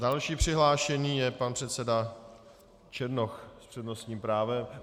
Další přihlášený je pan předseda Černoch s přednostním právem.